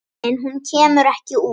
En hún kemur ekki út.